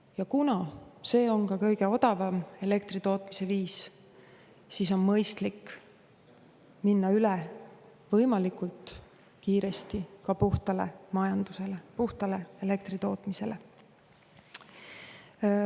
Ja kuna see on ka kõige odavam elektri tootmise viis, siis on mõistlik minna üle võimalikult kiiresti puhtale majandusele, puhtale elektri tootmisele.